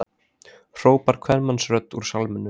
hrópar kvenmannsrödd úr salnum.